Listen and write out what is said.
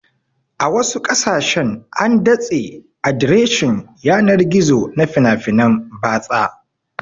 A wasu ƙasashen an datse adireshin yanar gizo na fina-finan batsa